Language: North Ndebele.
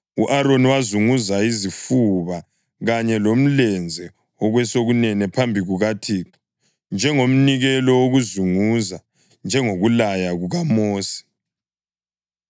U-Aroni wazunguza izifuba kanye lomlenze wokwesokunene phambi kukaThixo njengomnikelo wokuzunguza, njengokulaya kukaMosi.